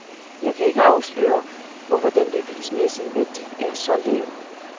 Jeg kan ikke afsløre, hvorfor den bevismæssige værdi er så lav.